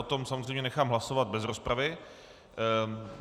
O tom samozřejmě nechám hlasovat bez rozpravy.